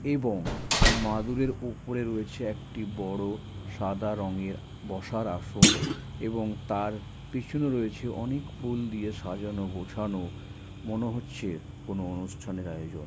এবং মাদূরের ওপরে রয়েছে একটি বড় সাদা রঙের বসার আসন এবং তার পেছনে রয়েছে অনেক ফুল দিয়ে সাজানো গোছানো মনে হচ্ছে কোন অনুষ্ঠানের আয়োজন।